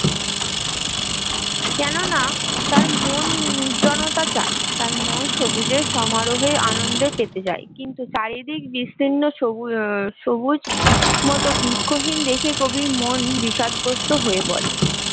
কেননা তার মন নির্জনতা চাই তার মন সবুজের সমারোহে আনন্দ পেতে চায় কিন্তু চারিদিক বিস্তীর্ণ সবুজ হম সবুজ বৃক্ষহীন দেশে কবির মন বিষাদগ্রস্ত হয়ে পরে